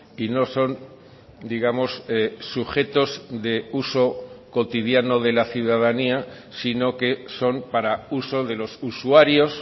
y nos son digamos sujetos de uso cotidiano de la ciudadanía sino que son para uso de los usuarios